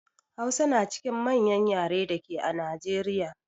Hausa na cikin manƴan ƴare dake a Najeriƴa.